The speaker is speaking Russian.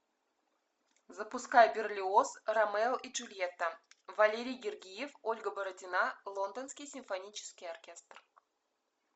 запускай берлиоз ромео и джульетта валерий гергиев ольга бородина лондонский симфонический оркестр